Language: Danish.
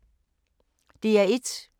DR1